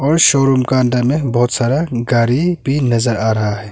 और शोरूम का अंदर में बहोत सारा गाड़ी भी नजर आ रहा है।